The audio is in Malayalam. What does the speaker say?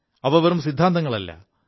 അവ വെറും സിദ്ധാന്തങ്ങളല്ല